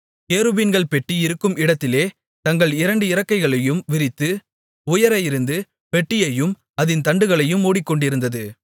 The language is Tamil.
கேருபீன்கள் பெட்டி இருக்கும் இடத்திலே தங்கள் இரண்டு இறக்கைகளையும் விரித்து உயர இருந்து பெட்டியையும் அதின் தண்டுகளையும் மூடிக்கொண்டிருந்தது